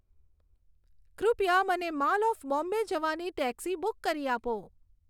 કૃપયા મને mall of Bombay જવાની ટેક્સી બુક કરી આપો